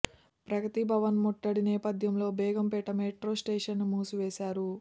ప్రగతి భవన్ ముట్టడి నేపథ్యంలో Begumpet metro station ను మూసివేశారు